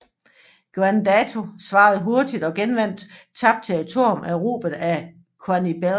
Gwanggaeto svarede hurtigt og genvandt tabt territorium erobret af Xianbei